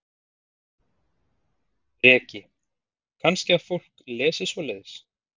Breki: Kannski að fólk lesi svoleiðis?